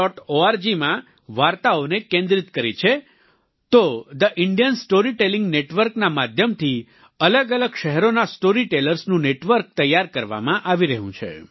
org માં વાર્તાઓને કેન્દ્રિત કરી છે તો the Indian story telling network ના માધ્યમથી અલગઅલગ શહેરોના સ્ટોરી tellersનું નેટવર્ક તૈયાર કરવામાં આવી રહ્યું છે